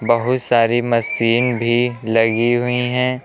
बहुत सारी मशीन भी लगी हुई हैं।